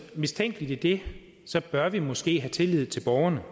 mistænkeligt i det bør vi måske have tillid til borgerne